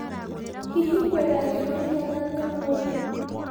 hĩhĩ kwina heho iigana atĩaũmũthĩ